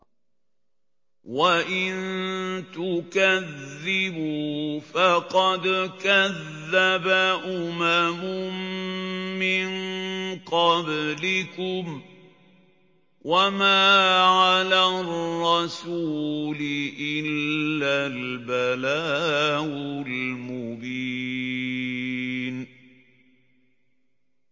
وَإِن تُكَذِّبُوا فَقَدْ كَذَّبَ أُمَمٌ مِّن قَبْلِكُمْ ۖ وَمَا عَلَى الرَّسُولِ إِلَّا الْبَلَاغُ الْمُبِينُ